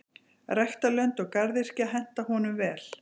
Ræktarlönd og garðyrkja henta honum vel.